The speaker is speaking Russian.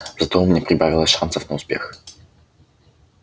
зато у меня прибавилось шансов на успех